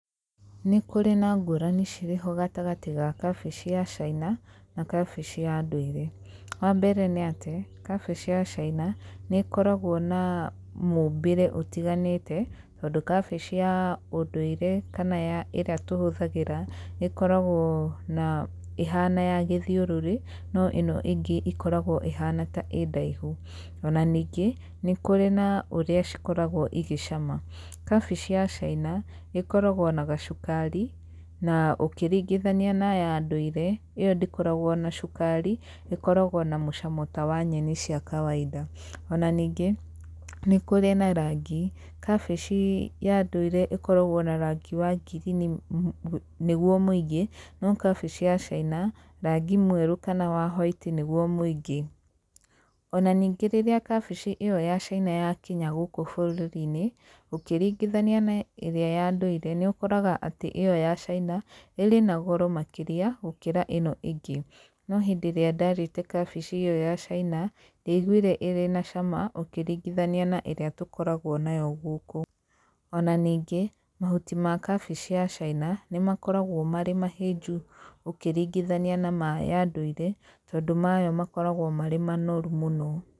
Nĩ kũrĩ na ngũrani cirĩ ho gatagatĩ ga kabici ya caina na kabici ya ndũire, wambere nĩ atĩ kabici ya cina nĩ ĩkoragwo na mũbĩre ũtiganĩte, tondũ kabici ya ũndũire kana ĩrĩa tũhũthagĩra nĩ ĩkoragwo na ĩhana ya gĩthiũrũrĩ, no ĩno ĩngĩ ĩkoragwo ĩhana ta ĩ ndaihu, ona ningĩ, nĩ kũrĩ na ũrĩa ikoragwo ĩgĩcama. Kabici ya caina ĩkoragwo na gacukari, na ũkĩringithania na ya ndũire, ĩyo ndĩkoragwo na cukari, ĩkoragwo na mũcamo ta wa nyeni cia kawainda. Ona ningĩ nĩ kũrĩ na rangi, kabici ya ndũire ĩkoragwo na rangi wa ngirini nĩguo mũingĩ, no kabici ya caina, rangi mwerũ kana wa hwaiti nĩguo mũingĩ. Ona ningĩ rĩrĩa kabici ĩyo ya cina yakinya gũkũ bũrũri-inĩ, ũkĩringithania na ĩrĩa ya ndũire, nĩ ũkoraga atĩ ĩyo ya caina, ĩrĩ na goro makĩria gũkĩra ĩno ĩngĩ, no hĩndĩ ĩrĩa ndarĩte kabici ĩyo ya caina, ndiaiguire ĩrĩ na cama ũkĩringithania na ĩrĩa tũkoragwo nayo gũkũ, ona ningĩ, mahuti ma kabici ya caina nĩ makoragwo marĩ mahĩnju ũkĩringithania na ma ya ndũire, tondũ mayo makoragwo marĩ manoru mũno.